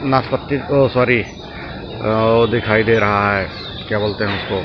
नाशपत्ती ओ सॉरी अ अ दिखाई दे रहा है क्या बोलते हैं उसको --